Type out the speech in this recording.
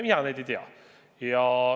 Mina neid ei tea.